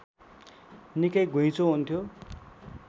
निकै घुईँचो हुन्थ्यो